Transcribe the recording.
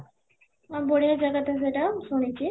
ହଁ, ବଢିଆ ଜାଗା ତ ସେଇଟା ମୁଁ ଶୁଣିଛି